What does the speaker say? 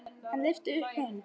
Hann lyfti upp hönd.